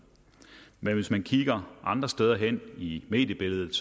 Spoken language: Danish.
men hvis man kigger andre steder hen i mediebilledet